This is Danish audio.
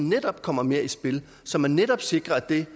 netop kommer mere i spil så man netop sikrer at det